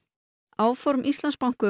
áform Íslandsbanka